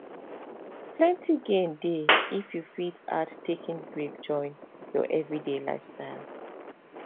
plenty gain dey if you fit add taking breaks join your everyday lifestyle